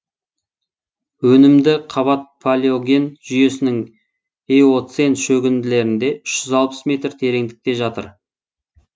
өнімді қабат палеоген жүйесінің эоцен шөгінділерінде үш жүз алпыс метр тереңдікте жатыр